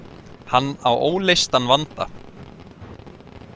Hann á óleystan vanda.